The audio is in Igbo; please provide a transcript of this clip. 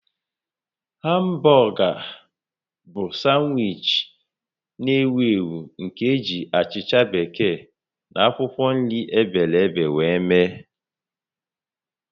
Hamburger bụ sanwichi na-ewu ewu nke eji achicha bekee na akwụkwọ nri ebere ebe were eme